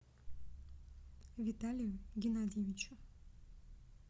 виталию геннадьевичу